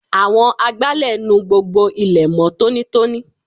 Àwọn agbálẹ̀ nu gbogbo ilẹ̀ mó tónítóní.